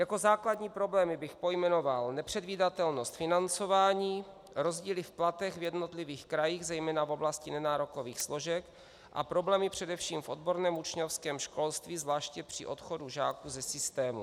Jako základní problémy bych pojmenoval nepředvídatelnost financování, rozdíly v platech v jednotlivých krajích zejména v oblasti nenárokových složek, a problémy především v odborném učňovském školství zvláště při odchodu žáků ze systému.